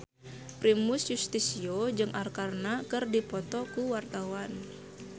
Primus Yustisio jeung Arkarna keur dipoto ku wartawan